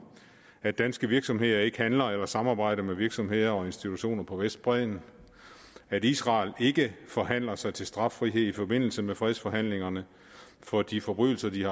at danske virksomheder ikke handler eller samarbejder med virksomheder og institutioner på vestbredden at israel ikke forhandler sig til straffrihed i forbindelse med fredsforhandlingerne for de forbrydelser de